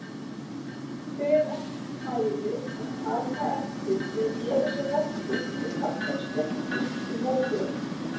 Hver ætli færi að taka eftir eða gera sér rellu þó kallinn steyptist í mógröf?